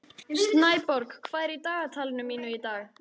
Snæborg, hvað er í dagatalinu mínu í dag?